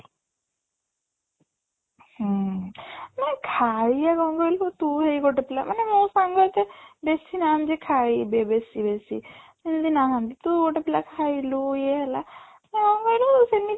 ହୁଁ ମାନେ ଖାଇବା କ'ଣ କହିଲୁ ତୁ ହେଇ ଗୋଟେ ପିଲା ମାନେ ମୋ ସାଙ୍ଗ ଏତେ ବେଶୀ ନାହାନ୍ତି ଖାଇବେ ବେଶୀ ବେଶୀ ଏମିତି ନାହାନ୍ତି ତୁ ଗୋଟେ ପିଲା ଖାଇଲୁ ଇଏ ହେଲା କ'ଣ କହିଲୁ ସେମିତିଆ